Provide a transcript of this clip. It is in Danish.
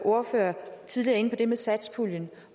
ordfører tidligere inde på det med satspuljen